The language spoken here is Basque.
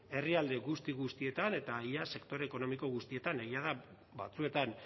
herrialde guzti guztietan eta ia sektore ekonomiko guztietan egia da batzuetan